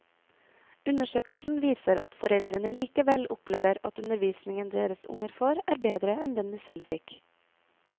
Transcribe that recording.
Undersøkelsen viser at foreldrene likevel opplever at undervisningen deres unger får, er bedre enn den de selv fikk.